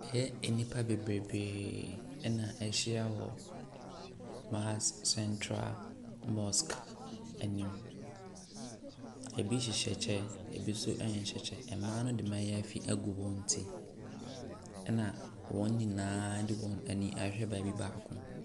Ɛyɛ nnipa bebrebee na wɔahyia wɔ Mahas Central Mosque anim. Ebi hyehyɛ kyɛ, ebi nso nhyɛ kyɛ. Mmaa no de mmaayaafi agu wɔn ti, ɛnna wɔn nyinaa de wɔn ani ahwɛ baabi baako.